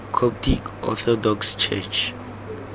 coptic orthodox church